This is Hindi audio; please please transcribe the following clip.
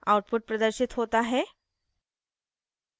output प्रदर्शित होता है